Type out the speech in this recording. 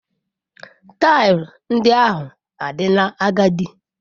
Taịlị ndị ahụ adịla agadi.